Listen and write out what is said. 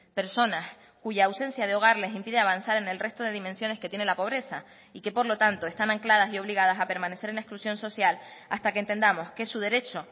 personas cuya ausencia de hogar les impide avanzar en el resto de dimensiones que tiene la pobreza y que por lo tanto están ancladas y obligadas a permanecer en exclusión social hasta que entendamos que su derecho